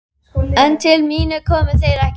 En til mín komu þeir ekki.